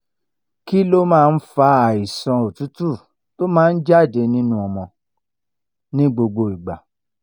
kí ló máa ń fa àìsàn òtútù tó máa ja de nínú ọmọdé ni gbogbo igba?